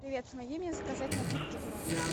привет помоги мне заказать напитки в номер